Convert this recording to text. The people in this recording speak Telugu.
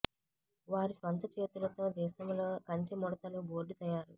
వారి స్వంత చేతులతో దేశంలో కంచె ముడతలు బోర్డు తయారు